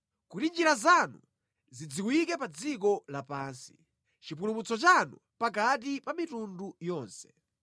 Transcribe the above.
Kuti njira zanu zidziwike pa dziko lapansi, chipulumutso chanu pakati pa mitundu yonse.